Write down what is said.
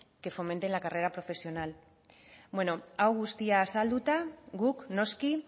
que fomenten la carrera profesional bueno hau guztia azalduta guk noski